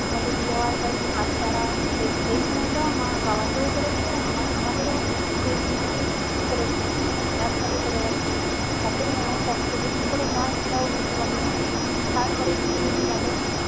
আমাদের বিয়ে হওয়ার পরে যে বাচ্ছা হয় সেই সেইসময়টাও মা বাবা কেও করেছে আবার আমাদেরও সেরকমভাবেই করেছে একভাবে করে গেছে তাতেও মায়ের কষ্ট যে কি করে হয় সেটাও বুঝতে পারিনা তারপরে কিছুদিন গেলো